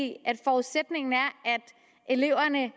i at forudsætningen er at eleverne